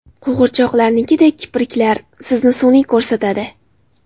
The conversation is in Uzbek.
Qo‘g‘irchoqnikidek kipriklar sizni sun’iy ko‘rsatadi.